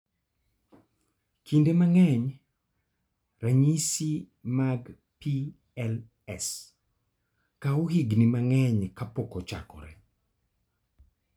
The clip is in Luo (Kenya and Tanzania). Kinde mang'eny, ranyisi mag PLS kawo higini mang'eny kapok ochakore.